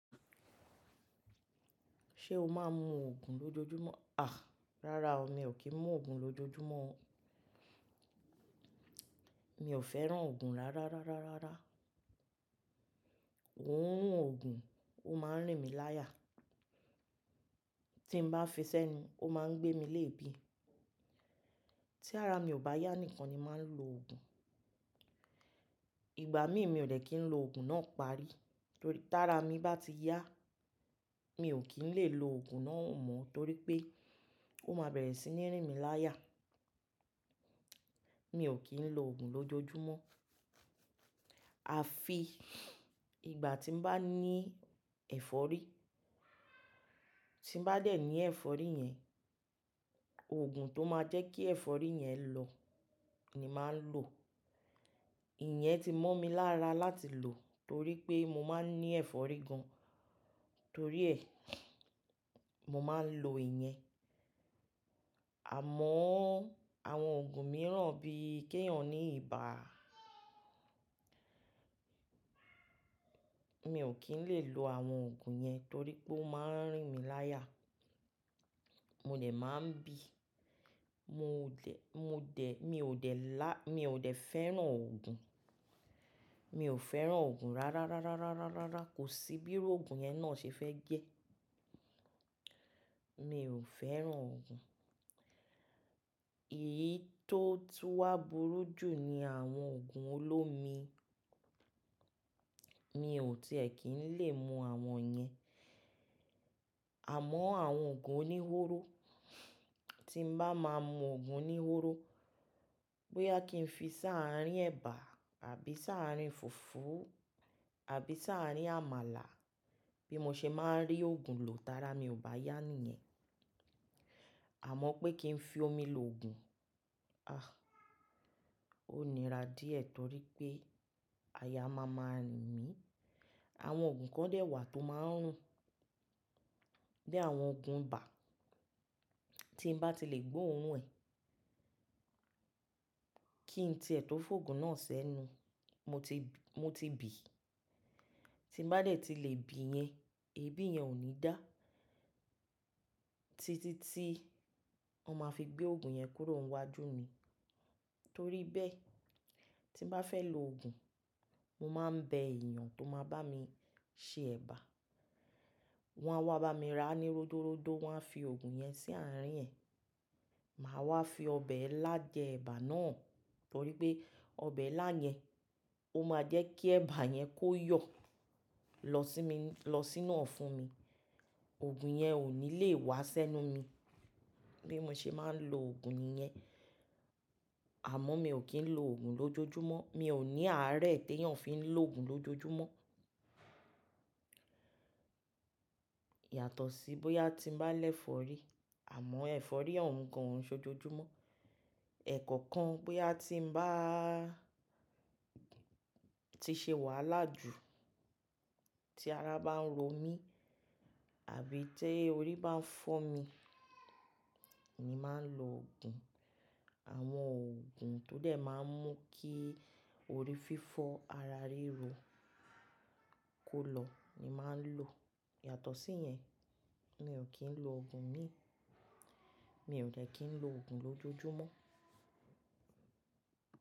Ṣé o máa ń mu òògi lójoojúmọ́? À, rárá o, mi ò kí ń mu òògi lójoojúmọ́. Mi ò fẹ́ràn òògùn rárá rárá rárá. Òorun òògùn ó máa ń rìn mí láyà. Tí n bá fi sẹ́nu, ó máa ń gbé mi léèébì. Tí ara mi ò bá yá nìkan ni màá ń lo òògùn. Ìgbà mí mi ò lè kí ń lo òògùn náà parí torí tí ara mi bá ti yá, mi ò kí ń lè lo òògùn náà mọ́ torí pé ó máa bẹ̀rẹ̀ sí ní rìn mí láyà. Mi ò kí ń lo òògùn lójoojúmọ́. À fi ìgbà tí n bá ní ẹ̀fọ́rí, tí n bá dẹ̀ ní ẹ̀fọ́rí yẹn, òògùn tó máa jẹ́ kí ẹ̀fọ́rí yẹn lọ ni màá ń lò. Ìyẹn ti mo mi lára láti lò torí pé mo máa ń ní ẹ̀fọ́rí gan-an. Torí ẹ, mo máa ń lo ìyẹn. Àmọ́ àwọn òògùn mìíràn bí i kéyìn ọ̀n ní ibà, mi ò kí ń lè lo àwọn òògùn yẹn torí pé ó máa ń rìn mí láyà. Mo dẹ̀ máa ń bì. Mo dẹ̀, mo dẹ̀, mi ò dẹ̀ lá-- mi ò dẹ̀ fẹ́ràn òògùn. Mi ò fẹ́ràn òògùn rárá rárá rárá rárá. Kò sí bíró òògùn yẹn náà ṣe fẹ́ jẹ́. Mi ò fẹ́ràn òògùn. Èyí tó tú wá burú jù ni àwọn òògùn olómi. Mi ò tiẹ̀ kí ń lè mu àwọn yẹn. Àmọ́ àwọn òògùn oníhóró, tí n bá máa mu òògùn oníhóró bóyá kí n fi sáàárín ẹ̀bà àbí sáàárín fùfú àbí sáàárín àmàlà bí mo ṣe máa ń rí òògùn lò, tí ara mi ò bá yá nìyẹn. Àmọ́ pé kí n fi omi lo òògùn, àh, ó nira díẹ̀ torí pé aya máa máa riń mì. Àwọn òògùn kan dẹ̀ wà tó máa ń rùn, bí i àwọn òògùn ibà. Tí n bá ti lè gbó òorun ẹ̀, kí n tiẹ tọ fún òògùn náà sẹ́nu, mo ti, mo ti bì. Tí n bá dẹ̀ ti lè bì yẹn, ebi yẹn ò ní dá títí tí wọ́n ma fi gbé òògùn yẹn kúrò wájú mi. Torí bẹ́ẹ̀, tí n bá fẹ́ lo òògùn, mo máa ń bẹ èèyàn tó máa bá mi ṣe ẹ̀bà. Wọ́n á wá bá mi rà á ní ródoródo wọ́n a fi òògùn yẹn sí àárín ẹ̀. Màá wá fi ọbẹ̀ ẹ́ lá jẹ ẹ̀bà náà torí pé ọbẹ̀ ẹ́ lá yẹn ó máa jẹ́ kí ẹ̀bà yẹn kó yọ̀ lọ sí mi, lọ sínú ọ̀ fún mi. Òògùn yẹn ò ní lè wá sẹ́nu mi bí mo ṣe máa ń lo òògùn yẹn. Àmọ́ mi ò kí ń lo òògùn lójoojúmọ́. Mi ò ní àárẹ̀ tó yàn fí ń lo òògùn lójoojúmọ́. Yàtọ̀ sí bóyá tí n bá lẹ̀ fọ́rí. Àmọ́ ẹ̀fọ́rí ò uń gan-an sójojúmọ́. Ẹ̀kọ̀kan bóyá tí ń bá ti ṣe wàhálà jù, tí ara bá ń ro mí àbí tí orí bá ń fọ́ mi ni màá ń lo òògùn. Àwọn òògùn tó dẹ̀ máa ń mú kí orí fífọ́ ara ríro kó lọ ni màá ń lò. Yàtọ̀ sí yẹn, mi ò kí ń lo òògùn mí. Mi ò dè kí ń lo òògùn lójoojúmọ́.